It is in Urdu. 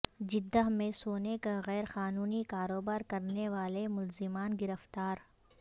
جدہ میں سونے کا غیر قانونی کاروبار کرنے والے ملزمان گرفتار